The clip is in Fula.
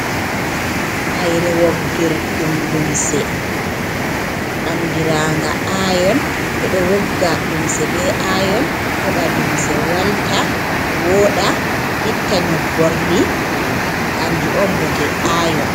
Haire woggirɗum lumse andiranga ayon, ɓe ɗo wogga lumse be ayon heɓa lumse walta woɗa, itta nyobborli kanju on bote ayon.